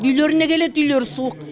үйлеріне келеді үйлері суық